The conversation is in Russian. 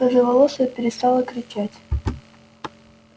рыжеволосая перестала кричать